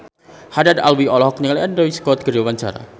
Haddad Alwi olohok ningali Andrew Scott keur diwawancara